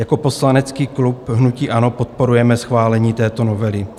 Jako poslanecký klub hnutí ANO podporujeme schválení této novely.